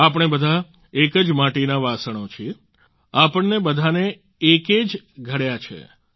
આપણે બધા એક જ માટીના વાસણો છીએ આપણને બધાને એકે જ ઘડ્યા છે